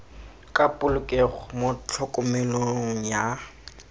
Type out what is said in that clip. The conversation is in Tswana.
ka polokego mo tlhokomelong ya